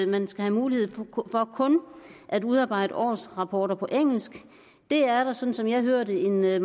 man skal have mulighed for kun at udarbejde årsrapporter på engelsk det er der sådan som jeg hører det en meget